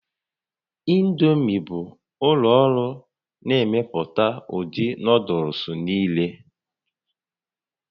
Indomi bụ ụlọ ọrụ na-emepụta ụdị nuuduls niile